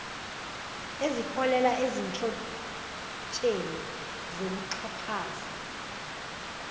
eziholela ezinhlotsheni zokuxhaphaza